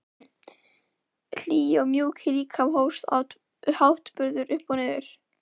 Hlýi og mjúki líkaminn hófst háttbundið upp og niður.